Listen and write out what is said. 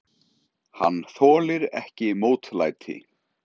Hann þolir ekki mótlæti.